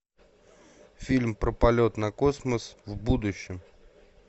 фильм про полет на космос в будущем